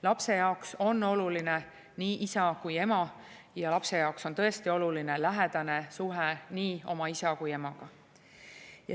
Lapse jaoks on oluline nii isa kui ka ema ja lapse jaoks on tõesti oluline lähedane suhe nii oma isa kui ka emaga.